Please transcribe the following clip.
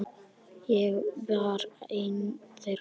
Ég var ein þeirra.